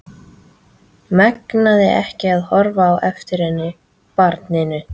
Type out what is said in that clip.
Megnaði ekki að horfa á eftir henni, barninu.